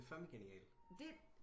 Men det er fandme genialt